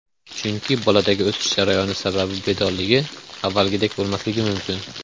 Chunki boladagi o‘sish jarayoni sabab bedorligi avvalgidek bo‘lmasligi mumkin.